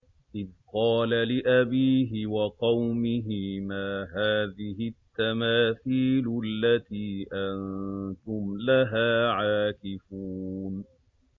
إِذْ قَالَ لِأَبِيهِ وَقَوْمِهِ مَا هَٰذِهِ التَّمَاثِيلُ الَّتِي أَنتُمْ لَهَا عَاكِفُونَ